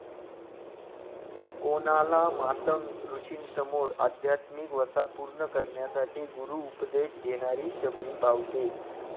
कोणाला मातंग ऋषींसमोर अध्यात्मिक वसा पूर्ण करण्यासाठी गुरु उपदेश घेणारी शबरी भावते.